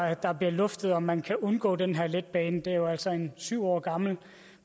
at der bliver luftet om man kan undgå den her letbane det er jo altså en syv år gammel